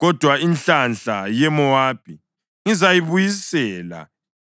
Kodwa inhlanhla ye-Mowabi ngizayibuyisela